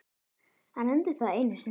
Hann reyndi það einu sinni.